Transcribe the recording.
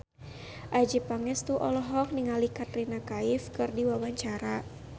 Adjie Pangestu olohok ningali Katrina Kaif keur diwawancara